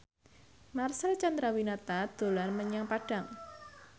Marcel Chandrawinata dolan menyang Padang